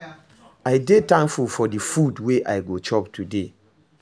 I dey thankful for di food wey I go chop today